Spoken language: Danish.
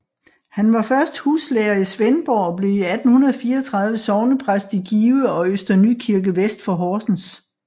Han var først huslærer i Svendborg og blev i 1834 sognepræst i Give og Øster Nykirke vest for Horsens